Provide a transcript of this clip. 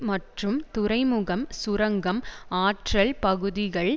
மற்றும் துறைமுகம் சுரங்கம் ஆற்றல் பகுதிகள்